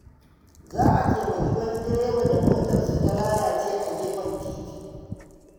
Za a taimaki wani direba da motarsa ta lalace a gefen titi.